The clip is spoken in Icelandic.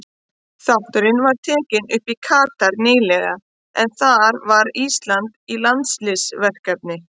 Þátturinn var tekinn upp í Katar nýlega en þar var Ísland í landsliðsverkefni.